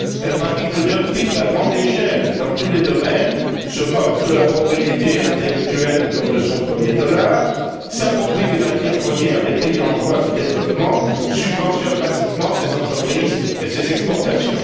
Elle pratique le dumping à grande échelle dans tous les domaines, se moque de la propriété intellectuelle comme de son premier dollar, s'approprie les matières premières des pays en voie de développement, subventionne massivement ses entreprises et ses exportations.